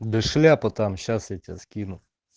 да шляпа там сейчас я тебе скину